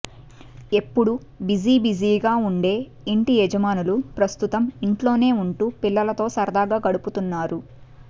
ఎప్పుడూ బిజీబిజీ ఉండే ఇంటి యజమానులు ప్రస్తుతం ఇంట్లోనే ఉంటూ పిల్లలతో సరదాగా గడుపుతున్నారు